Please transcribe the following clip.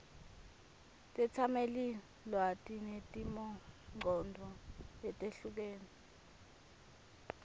tetsamelilwati netimongcondvo letehlukene